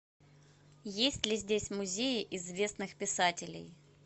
есть ли здесь музеи известных писателей